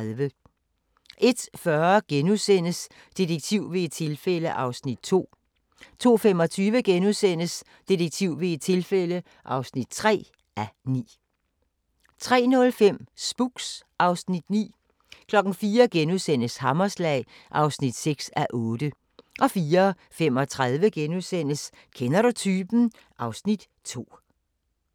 01:40: Detektiv ved et tilfælde (2:9)* 02:25: Detektiv ved et tilfælde (3:9)* 03:05: Spooks (Afs. 9) 04:00: Hammerslag (6:8)* 04:35: Kender du typen? (Afs. 2)*